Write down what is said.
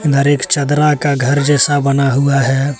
हर एक चदरा का घर जैसा बना हुआ है।